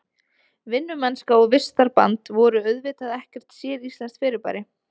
Vinnumennska og vistarband voru auðvitað ekkert séríslenskt fyrirbæri.